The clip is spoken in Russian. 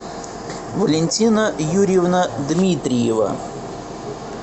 валентина юрьевна дмитриева